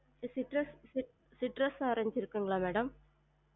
citrus cit~ citrus orange இருக்குங்களா madam?